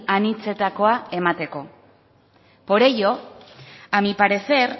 anitzetakoa emateko por ello a mi parecer